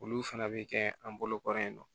Olu fana bɛ kɛ an bolo kɔrɔ ye nɔ